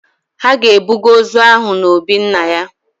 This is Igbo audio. Ha ga-ebuga ozu ahụ na obi nna ya.